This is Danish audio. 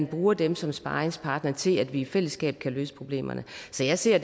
bruge dem som sparringspartner til at vi i fællesskab kan løse problemerne så jeg ser